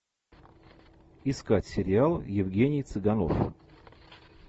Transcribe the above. искать сериал евгений цыганов